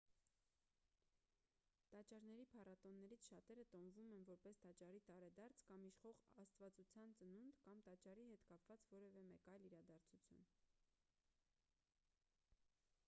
տաճարների փառատոններից շատերը տոնվում են որպես տաճարի տարեդարձ կամ իշխող աստվածության ծնունդ կամ տաճարի հետ կապված որևէ այլ մեծ իրադարձություն